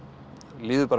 líður